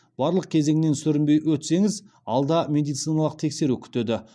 барлық кезеңнен сүрінбей өтсеңіз алда медициналық тексеру күтеді